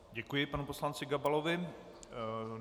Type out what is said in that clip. Děkuji panu poslanci Gabalovi.